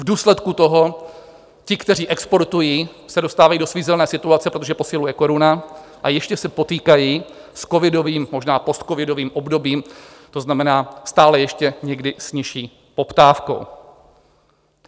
V důsledku toho ti, kteří exportují, se dostávají do svízelné situace, protože posiluje koruna, a ještě se potýkají s covidovým, možná postcovidovým obdobím, to znamená stále ještě někdy s nižší poptávkou.